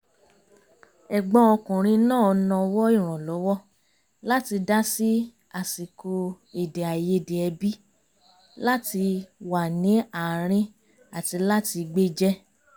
ẹ̀gbọ́n ọkùnrin náà nawọ́ ìrànlọ́wọ́ láti dá sí àsìkò èdè àìyedè ẹbí láti wà ní àárín àti láti gbéjẹ́